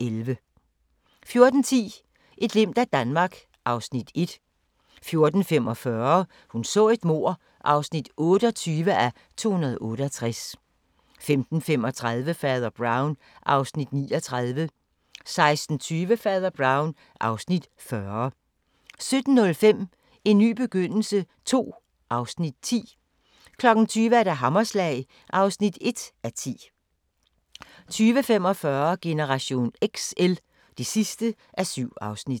11) 14:10: Et glimt af Danmark (Afs. 1) 14:45: Hun så et mord (28:268) 15:35: Fader Brown (Afs. 39) 16:20: Fader Brown (Afs. 40) 17:05: En ny begyndelse II (Afs. 10) 20:00: Hammerslag (1:10) 20:45: Generation XL (7:7)